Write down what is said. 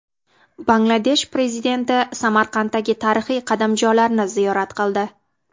Bangladesh prezidenti Samarqanddagi tarixiy qadamjolarni ziyorat qildi .